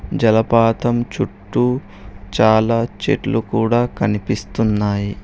జలపాతం చుట్టూ చాలా చెట్లు కూడ కనిపిస్తున్నాయి.